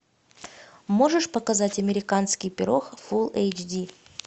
можешь показать американский пирог фул эйч ди